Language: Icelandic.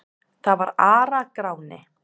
Það var Ara-Gráni.